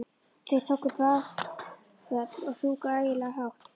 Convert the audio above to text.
Þeir tóku bakföll og sungu ægilega hátt.